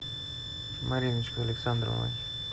мариночкой александровой